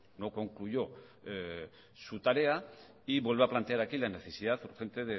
no concluyó su tarea y vuelve a plantear aquí la necesidad urgente